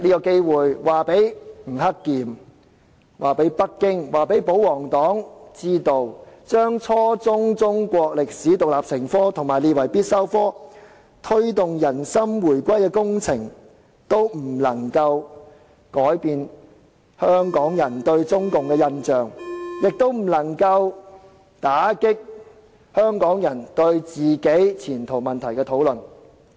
我想告訴吳克儉、北京和保皇黨，規定初中中史獨立成科和將之列為必修科，以及推動"人心回歸工程"都不能改變香港人對中共的印象，也不能打擊香港人就前途問題進行討論。